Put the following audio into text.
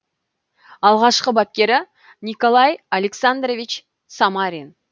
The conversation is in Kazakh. алғашқы бапкері николай александрович самарин